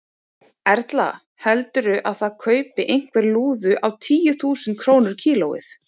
Erla: Heldurðu að það kaupi einhver lúðu á tíu þúsund krónur kílóið?